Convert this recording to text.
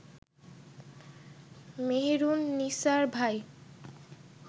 মেহেরুননিসার ভাই